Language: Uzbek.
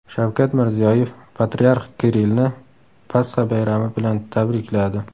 Shavkat Mirziyoyev Patriarx Kirillni Pasxa bayrami bilan tabrikladi.